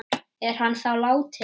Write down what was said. Er hann þá látinn?